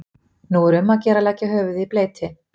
nú er um að gera að leggja höfuðið í bleyti